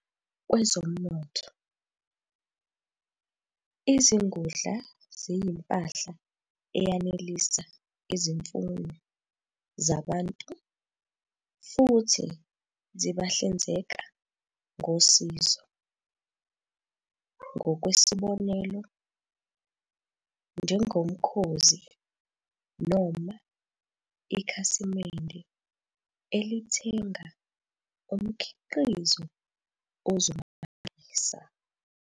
Kwezomnotho, izingudla ziyimpahla eyanelisa izimfuno zabantu futhi zibahlinzeka ngosizo, ngokwesibonelo, njengomkhozi noma ikhasimende elithenga umkhiqizo ozomanelisa.